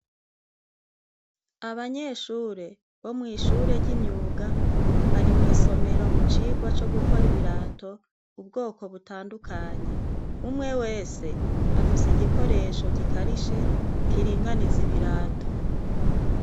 Abanyeshure bo mw'ishure ry'imyuga bari mw'isomero mu cigwa co gukora ibirato ubwoko butandukanye umwe wese afise igikoresho gikarishe kiringaniza ibirato.